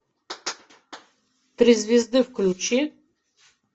три звезды включи